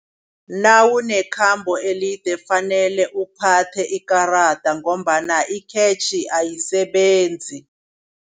Nawunekhambo elide kufanele uphathe ikarada ngombana ikhetjhi ayisebenzi.